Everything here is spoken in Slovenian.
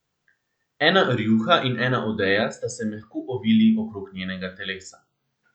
Ena rjuha in ena odeja sta se mehko ovili okrog njenega telesa.